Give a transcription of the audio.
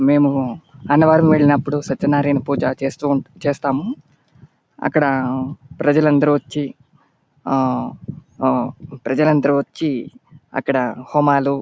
మేము అన్నవరం వెళ్ళినప్పుడు సత్యనారాయణ పూజ చేస్తూ-చేస్తాము. అక్కడ ప్రజలందరూ వచ్చి ఆ ఆ ప్రజలందరూ వచ్చి అక్కడ హోమాలు --